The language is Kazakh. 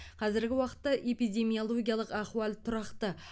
қазіргі уақытта эпидемиологиялық ахуал тұрақты